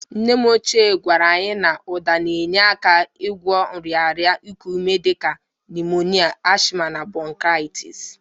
Nnem ochie gwara anyị na ụda na-enye aka n'ịgwọ nrịarịa iku ume dị ka nimonia, asma na bronkaịtis.